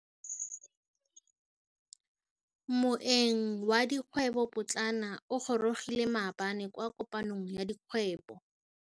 Moêng wa dikgwêbô pôtlana o gorogile maabane kwa kopanong ya dikgwêbô.